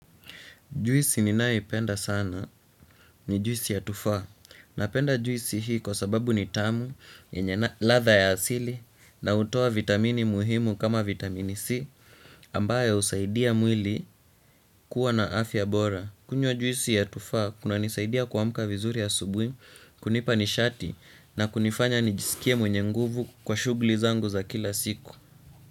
Juisi ninayoipenda sana ni juisi ya tufaa napenda juisi hii kwa sababu ni tamu yenye ladha ya asili na hutoa vitamini muhimu kama vitamini C ambayo husaidia mwili kuwa na afya bora. Kunywa juisi ya tufaa kunanisaidia kuamka vizuri asubuhi kunipa nishati na kunifanya nijisikie mwenye nguvu kwa shughuli zangu za kila siku.